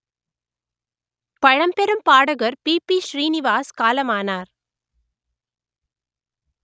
பழம்பெரும் பாடகர் P B Srinivas காலமானார்